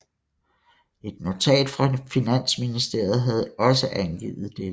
Et notat fra Finansministeriet havde også angivet dette